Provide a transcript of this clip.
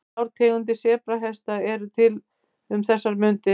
Þrjár tegundir sebrahesta eru til um þessar mundir.